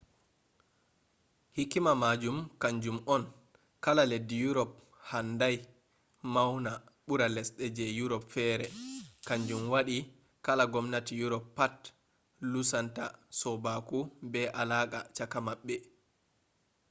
hikima majum kanjum on kala leddi europe handai maona bura lesde ji europe fere kanjum wadi kala gomnati europe pat lusunta sobaku be alaka chaka mabbe